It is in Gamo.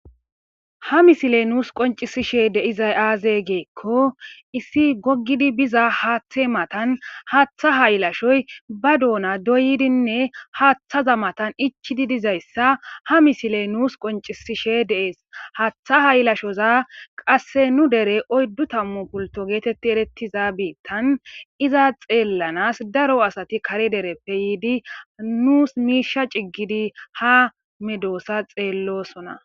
Ha misiley nuusi qoncisishe dizay aaze gikon issi gogid biza haathe matani haatha haylashoy ba dosona doyidinne haathaza matani ichidi dizaysa ha misiley nuusi qoncisishe de'es, ha haylashoza qase nu dere oydu tamu pulto getet eretiza biitan iza xeelanasi daro asati kare dereppe yiidi nusi miisha cigid ha medosa xeelosona